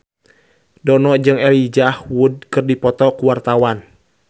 Dono jeung Elijah Wood keur dipoto ku wartawan